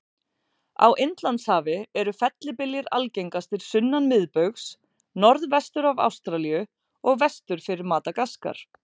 Á Indlandshafi eru fellibyljir algengastir sunnan miðbaugs, norðvestur af Ástralíu og vestur fyrir Madagaskar.